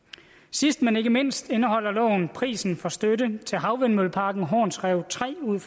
sidst men ikke mindst indeholder loven prisen for støtte til havvindmølleparken horns rev tre ud